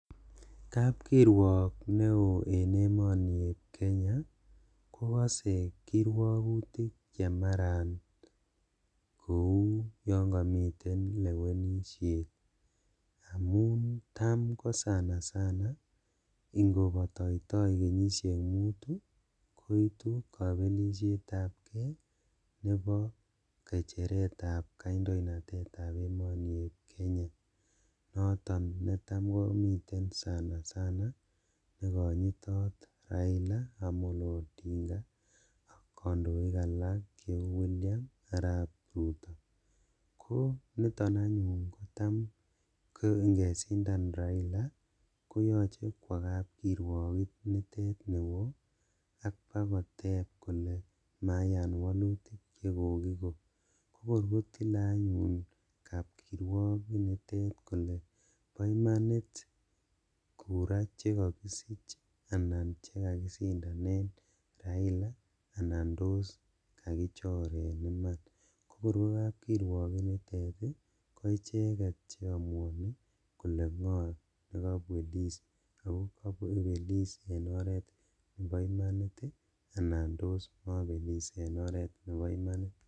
Kap kirwaak neoo eng emet ap kenya kokasee kirwagutik amun tam kopataitai kenyisheek mutuu kotam komiteei kandoiik konitok anyun taam ngeshindaan raila kowendii yutok ak kele pa imaniit chuu kele kakishindan anan llembech